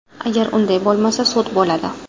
Agar unday bo‘lmasa, sud bo‘ladi.